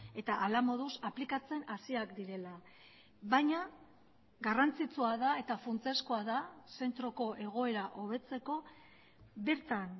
eta hala moduz aplikatzen hasiak direla baina garrantzitsua da eta funtsezkoa da zentroko egoera hobetzeko bertan